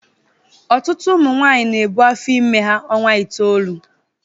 Ọtụtụ ụmụ nwanyị na-ebu afọ ime ha ọnwa itoolu